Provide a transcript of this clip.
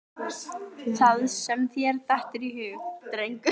Það sem þér dettur í hug, drengur.